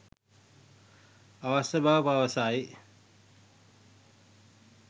අවශ්‍ය බව පවසයි